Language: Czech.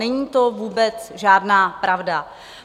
Není to vůbec žádná pravda.